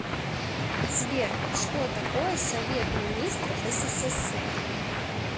сбер что такое совет министров ссср